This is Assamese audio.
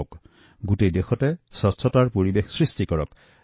সমগ্ৰ দেশতে স্বচ্ছতাৰ অনুকূল পৰিৱেশ তৈয়াৰ কৰক